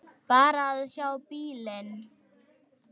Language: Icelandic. Bara að sjá bílinn.